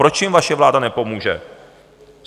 Proč jim vaše vláda nepomůže?